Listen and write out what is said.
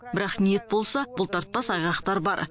бірақ ниет болса бұлтартпас айғақтар бар